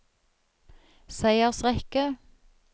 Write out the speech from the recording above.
seiersrekke